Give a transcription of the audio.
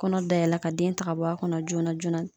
Kɔnɔ dayɛlɛ ka den ta ka bɔ a kɔnɔ joona joona.